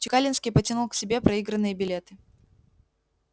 чекалинский потянул к себе проигранные билеты